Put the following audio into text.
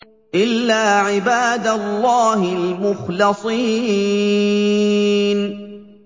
إِلَّا عِبَادَ اللَّهِ الْمُخْلَصِينَ